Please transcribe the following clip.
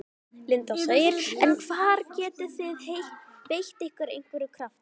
Linda: En hvar getið þið beitt ykkur af einhverjum krafti?